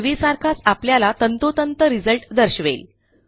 पूर्वीसारखाच आपल्याला तंतोतंत रिझल्ट दर्शवेल